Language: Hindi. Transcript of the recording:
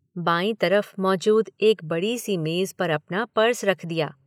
बाईं तरफ मौजूद एक बड़ी सी मेज़ पर अपना पर्स रख दिया।